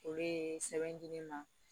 O bee sɛbɛn di ne ma